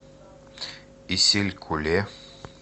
исилькуле